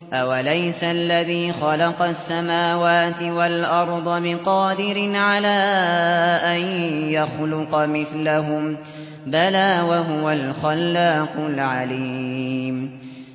أَوَلَيْسَ الَّذِي خَلَقَ السَّمَاوَاتِ وَالْأَرْضَ بِقَادِرٍ عَلَىٰ أَن يَخْلُقَ مِثْلَهُم ۚ بَلَىٰ وَهُوَ الْخَلَّاقُ الْعَلِيمُ